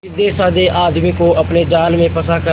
सीधेसाधे आदमी को अपने जाल में फंसा कर